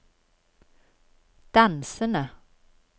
dansende